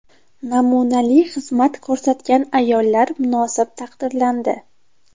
Namunali xizmat ko‘rsatgan ayollar munosib taqdirlandi.